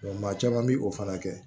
maa caman bi o fana kɛ